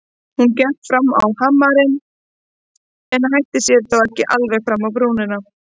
Hún gekk fram á hamarinn en hætti sér þó ekki alveg fram á brúnina.